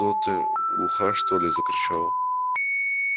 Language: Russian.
что ты глуха что ли закричал